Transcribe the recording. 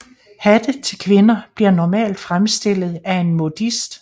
Hatte til kvinder bliver normalt fremstillet af en modist